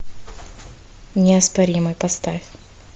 неоспоримый поставь